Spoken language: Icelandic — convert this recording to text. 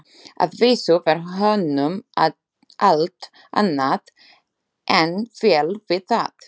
Að vísu var honum allt annað en vel við það.